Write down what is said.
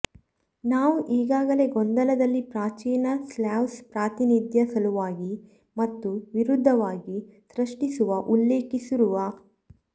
ನಾವು ಈಗಾಗಲೇ ಗೊಂದಲದಲ್ಲಿ ಪ್ರಾಚೀನ ಸ್ಲಾವ್ಸ್ ಪ್ರಾತಿನಿಧ್ಯ ಸಲುವಾಗಿ ಮತ್ತು ವಿರುದ್ಧವಾಗಿ ಸೃಷ್ಟಿಸುವ ಉಲ್ಲೇಖಿಸಿರುವ